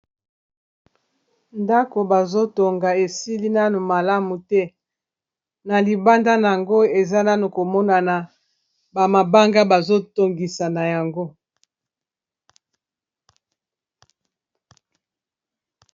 Ndako bazo tonga esili nano malamu te, na libanda nango eza nano komonana ba mabanga bazo tongisa na yango.